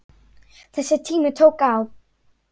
Þessi tími tók á.